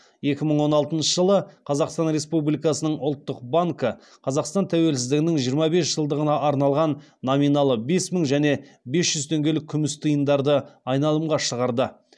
екі мың он алтыншы жылы қазақсан республикасының ұлттық банкі қазақстан тәуелсіздігінің жиырма бес жылдығына арналған номиналы бес мың және бес жүз теңгелік күміс тиындарды айналымға шығарды